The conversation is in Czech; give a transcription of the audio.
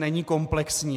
Není komplexní.